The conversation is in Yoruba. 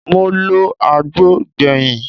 Mo lọ agbo gbẹ̀yìn